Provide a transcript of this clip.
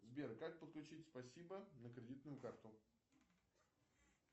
сбер как подключить спасибо на кредитную карту